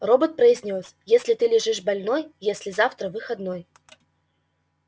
робот произнёс если ты лежишь больной если завтра выходной